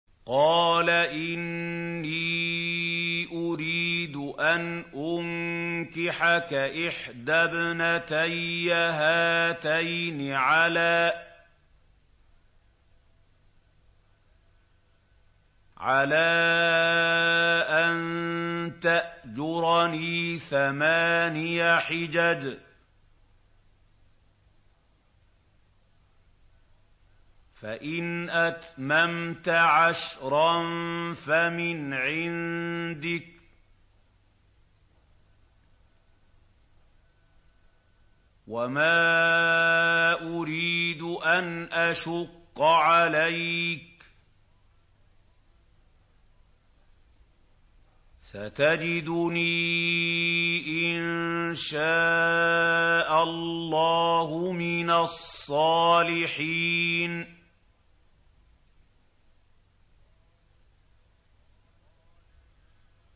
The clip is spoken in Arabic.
قَالَ إِنِّي أُرِيدُ أَنْ أُنكِحَكَ إِحْدَى ابْنَتَيَّ هَاتَيْنِ عَلَىٰ أَن تَأْجُرَنِي ثَمَانِيَ حِجَجٍ ۖ فَإِنْ أَتْمَمْتَ عَشْرًا فَمِنْ عِندِكَ ۖ وَمَا أُرِيدُ أَنْ أَشُقَّ عَلَيْكَ ۚ سَتَجِدُنِي إِن شَاءَ اللَّهُ مِنَ الصَّالِحِينَ